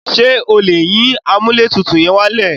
Ṣé o lè yín amúlẹ̀tutù yẹn wálẹ̀?